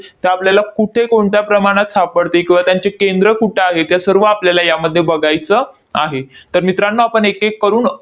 त्या आपल्याला कुठे, कोणत्या प्रमाणात सापडते किंवा त्यांचे केंद्र कुठं आहे ते सर्व आपल्याला यामध्ये बघायचं आहे. तर मित्रांनो आपण एकएक करून